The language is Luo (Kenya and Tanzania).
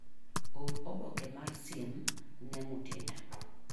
Or oboke mar siem ne Mutinda.